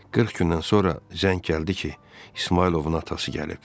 Qırx gündən sonra zəng gəldi ki, İsmayılovun atası gəlib.